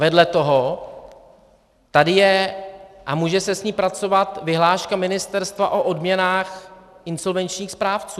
Vedle toho tady je, a může se s ní pracovat, vyhláška ministerstva o odměnách insolvenčních správců.